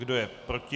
Kdo je proti?